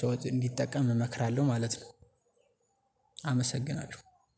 ሰው እንዲጠቀም እመክራለሁ ማለት ነው። አመሰግናለሁ